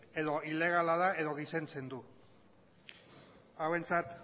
edo ilegala da edo gizentzen du hauentzat